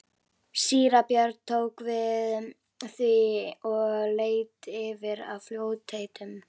Síra Björn tók við því og leit yfir í fljótheitum.